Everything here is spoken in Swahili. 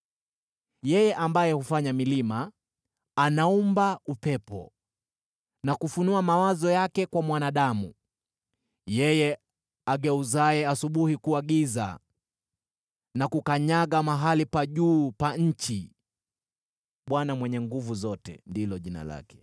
Yeye ambaye hufanya milima, anaumba upepo, na kufunua mawazo yake kwa mwanadamu, yeye ageuzaye asubuhi kuwa giza, na kukanyaga mahali pa juu pa nchi: Bwana Mungu Mwenye Nguvu Zote ndilo jina lake.